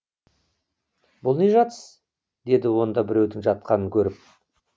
бұл не жатыс деді онда біреудің жатқанын көріп